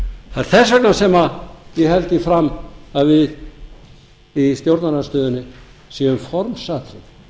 þess vegna sem ég held því fram að við í stjórnarandstöðunni séum formsatriði